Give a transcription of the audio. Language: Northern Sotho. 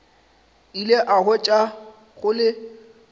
ile a hwetša go le